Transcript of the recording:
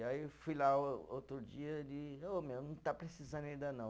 Aí eu fui lá outro dia, ele, ô meu, não está precisando ainda não.